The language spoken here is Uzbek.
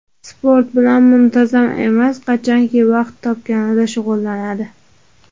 Sport bilan muntazam emas, qachonki vaqti topganida shug‘ullanadi.